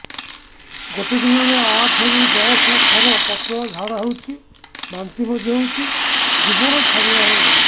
ଗୋଟେ ଦିନରେ ଆଠ ରୁ ଦଶ ଥର ପତଳା ଝାଡା ହେଉଛି ବାନ୍ତି ମଧ୍ୟ ହେଉଛି ଜୀବନ ଛାଡିଗଲା ଭଳି ଲଗୁଛି